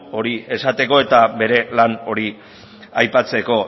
hori esateko eta bere plan hori aipatzeko